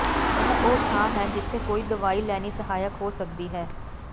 ਇਹ ਉਹ ਥਾਂ ਹੈ ਜਿੱਥੇ ਕੋਈ ਦਵਾਈ ਲੈਣੀ ਸਹਾਇਕ ਹੋ ਸਕਦੀ ਹੈ